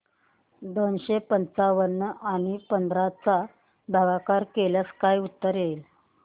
दोनशे पंच्याण्णव आणि पंधरा चा भागाकार केल्यास काय उत्तर येईल